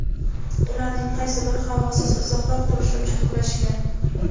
ularning qaysi biri havosiz uzoqroq turishi uchun kurashgan.